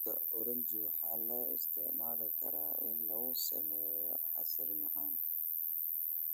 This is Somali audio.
Fruita oranji waxaa loo isticmaali karaa in lagu sameeyo casiir macaan.